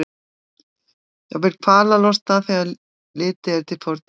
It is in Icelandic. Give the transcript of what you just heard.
Jafnvel kvalalosta þegar litið er til fortíðar hans.